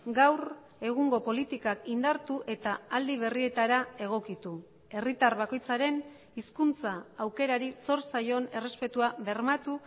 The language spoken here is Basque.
gaur egungo politikak indartu eta aldi berrietara egokitu herritar bakoitzaren hizkuntza aukerari zor zaion errespetua bermatu